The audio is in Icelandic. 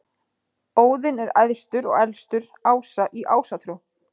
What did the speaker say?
Óðinn er æðstur og elstur ása í Ásatrú.